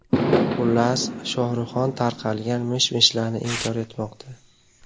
Xullas, Shohruhxon tarqalgan mish-mishlarni inkor etmoqda.